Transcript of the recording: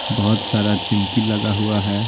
बहुत सारा चिमकी लगा हुआ है।